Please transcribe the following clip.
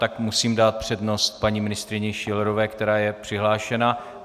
Tak musím dát přednost paní ministryni Schillerové, která je přihlášena.